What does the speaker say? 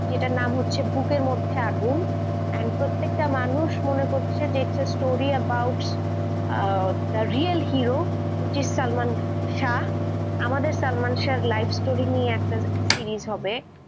যেটার নাম হচ্ছে বুকের মধ্যে আগুন, প্রত্যেকটা মানুষ মনে করছে this story about real hero which is Salman Shah, আমাদের সালমান শাহের lifestory নিয়ে একটা series হবে